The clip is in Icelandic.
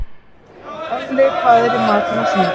Olli, hvað er í matinn á sunnudaginn?